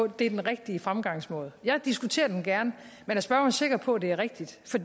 det er den rigtige fremgangsmåde jeg diskuterer den gerne men er spørgeren sikker på det er rigtigt for